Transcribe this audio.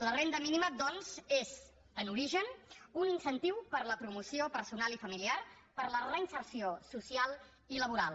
la renda mínima doncs és en origen un incentiu per a la promoció personal i familiar per a la reinserció social i laboral